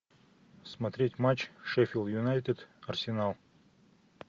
смотреть матч шеффилд юнайтед арсенал